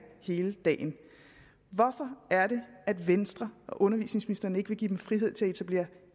hele dagen hvorfor er det at venstre og undervisningsministeren ikke vil give dem frihed til at etablere